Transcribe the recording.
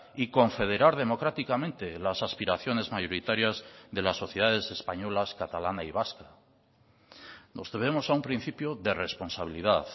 y confederar democráticamente las aspiraciones mayoritarias de las sociedades españolas catalana y vasca nos debemos a un principio de responsabilidad